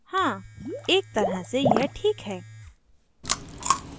हाँ ! एक तरह से यह ठीक है